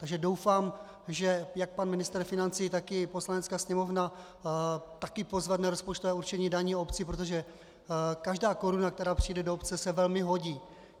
Takže doufám, že jak pan ministr financí, tak i Poslanecká sněmovna taky pozvedne rozpočtové určení daní obcí, protože každá koruna, která přijde do obce, se velmi hodí.